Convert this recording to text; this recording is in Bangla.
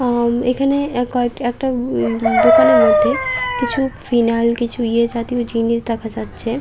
আম এখানে একা একটা এই দোকানের মধ্যে কিছু ফিনাইল কিছু ইয়ে জাতীয় জিনিস দেখা যাচ্ছে।